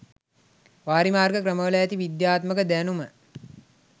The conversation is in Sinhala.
වාරිමාර්ග ක්‍රමවල ඇති විද්‍යාත්මක දැනුම